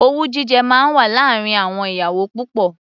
Owú jíjẹ máa wà láàárín àwọn ìyàwó púpọ̀.